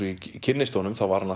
ég kynnist honum þá var hann